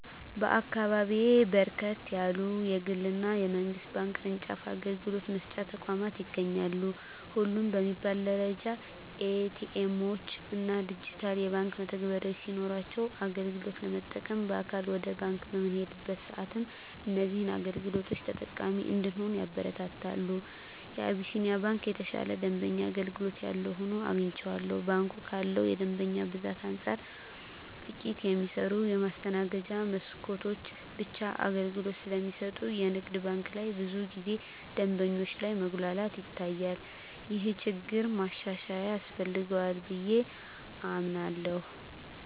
በአካባቢየ በርከት ያሉ የግል እና የመንግስት ባንክ ቅርጫፍ አገልግሎት መስጫ ተቋማት ይገኛሉ። ሁሉም በሚባል ደረጃ ኤ.ቲ. ኤምዎች እና ዲጂታል የባንክ መተግበሪያዎች ሲኖሯቸው አገልግሎት ለመጠቀም በአካል ወደ ባንክ በምንሄድበት ሰአትም እዚህን አገልግሎቶች ተጠቃሚ እንድንሆን ያበረታታሉ። የአቢስንያ ባንክ የተሻለ የደንበኛ አገልግሎት ያለው ሆኖ አግኝቸዋለሁ። ባንኩ ካለው የደንበኛ ብዛት አንፃር ጥቂት የሚሰሩ የማስተናገጃ መስኮቶች ብቻ አገልግሎት ስለሚሰጡ የንግድ ባንክ ላይ ብዙ ጊዜ ደንበኞች ላይ መጉላላት ይታያል። ይህ ችግር ማሻሻያ ያስፈልገዋል ብየ አምናለሁ።